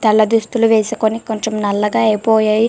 తెల్ల దుస్తులు వేసుకొని కొంచం నల్లగా అయిపోయాయ--